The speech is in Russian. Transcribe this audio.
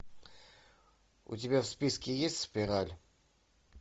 у тебя в списке есть спираль